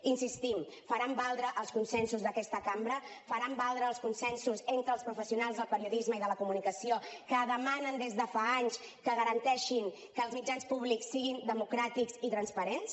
hi insistim faran valdre els consensos d’aquesta cambra faran valdre els consensos entre els professionals del periodisme i de la comunicació que demanen des de fa anys que garanteixin que els mitjans públics siguin democràtics i transparents